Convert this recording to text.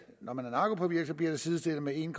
når man er narkopåvirket bliver det sidestillet med en